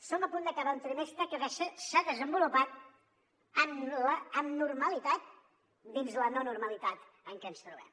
som a punt d’acabar un trimestre que s’ha desenvolupat amb normalitat dins la no normalitat en què ens trobem